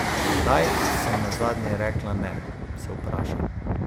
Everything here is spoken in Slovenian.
Kdaj sem nazadnje rekla ne, se vprašam.